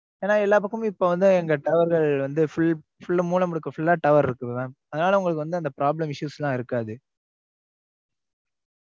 ஏன்னா எல்லா பக்கமும் இப்ப வந்து இந்த tower வந்து full ஆ modem இருக்குறதால tower இருக்குது mam அதனால உங்களுக்கு வந்து problem issues லாம் இருக்காது